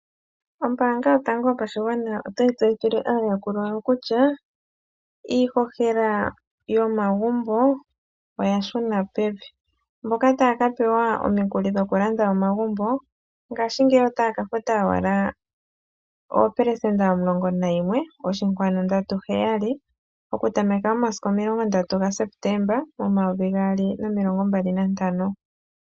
Ombaanga yotango yopashigwana otayi tseyithile aayakulwa yawo kutya iihohela yomagumbo oyashuna pevi. Mboka taya ka pewa omikuli dhokulanda omagumbo ngaashingeyi otaya ka futa owala oopelesenda omulongo nayimwe oshinkwanu ndatu heyali. Okutameka momasiku omilongo ndatu gaSeptemba omayovi gaali nomilongo mbali nantano.